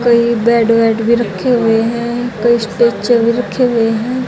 कई बेड वेड भी रखे हुए हैं कई स्ट्रेचर भी रखे हुए हैं।